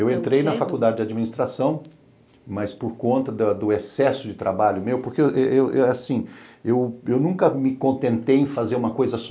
Eu entrei na faculdade de administração, mas por conta do excesso de trabalho meu, porque eu eu eu assim nunca me contentei em fazer uma coisa só.